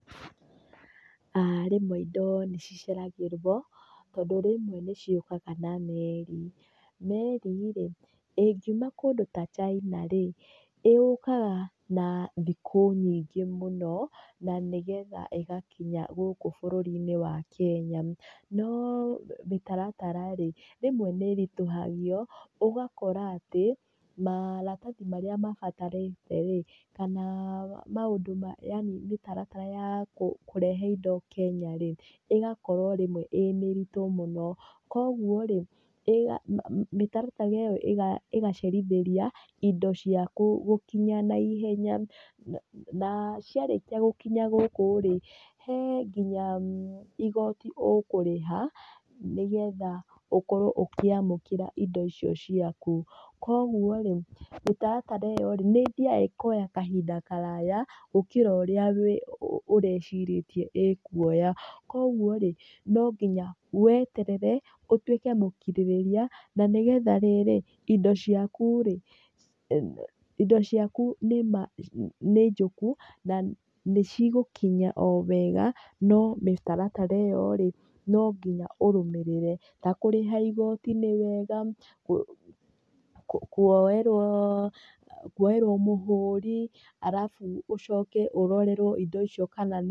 Rĩmwe indo nĩ ciceragĩrwo tondũ rĩmwe nĩ ciũkaga na meri. Meri rĩ ĩngiuma kũndũ ta China rĩ, yũkaga na thikũ nyingĩ mũno na nĩgetha ĩgakinya gũkũ bũrũri-inĩ wa Kenya. No mĩtaratara rĩ rĩmwe nĩ ĩritũhagio ũgakora atĩ maratathi marĩa mabatarĩte rĩ kana maũndũ ma yaani mĩtaratara ya kũrehe indo Kenya rĩ, ĩgakorwo rĩmwe ĩĩ mĩritũ mũno. Koguo rĩ mĩtaratara ĩyo ĩgacerithĩria indo ciaku gũkinya naihenya, Na ciarĩkia gũkinya gũkũ rĩ, he nginya igoti ũkũrĩha nĩgetha ũkorwo ũkĩamũkĩra indo icio ciaku. Koguo rĩ mĩtaratara ĩyo rĩ nĩ ĩthiaga ĩkoya kahinda karaya gũkĩra ũrĩa ũrecirĩtie ĩkuoya. Koguo rĩ no nginya weterere ũtuĩke mũkirĩrĩria na nĩgetha rĩrĩ, indo ciaku rĩ, indo ciaku nĩ ma nĩ njũku, na nĩ cigũkinya o wega no mĩtaratara ĩyo rĩ no nginya ũrũmĩrĩre. Ta kũrĩha igoti nĩ wega, kuoerwo kuoerwo mũhũri, arabu ũcoke ũrorerwo indo icio kana nĩ...